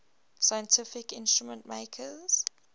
scientific instrument makers